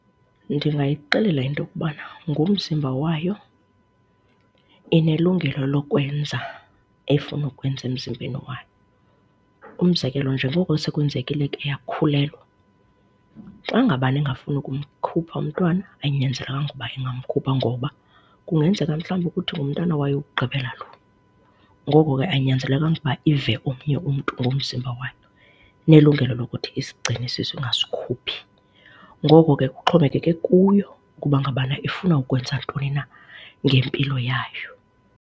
Ndingayixelela into yokubana ngumzimba wayo inelungelo lokwenza efuna ukukwenza emzimbeni wayo. Umzekelo, njengoko sekwenzekile ke yakhulelwa, xa ngabana engafuni ukumkhupha umntwana ayinyanzelekanga uba ingamkhupha ngoba kungenzeka mhlawumbi ukuthi ngumntana wayo wokugqibela loo. Ngoko ke ayinyanzelekanga uba ive omnye umntu ngomzimba wayo, inelungelo lokuba isigcine isisu ingasikhuphi. Ngoko ke kuxhomekeke kuyo uba ngabana ifuna ukwenza ntoni na ngempilo yayo.